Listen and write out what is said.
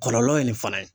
Kɔlɔlɔ ye nin fana ye